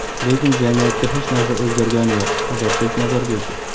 lekin jamiyatda hech narsa o‘zgargani yo‘q – Ozodbek Nazarbekov.